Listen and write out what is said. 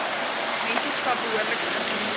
mentorskap behoorlik geïmplementeer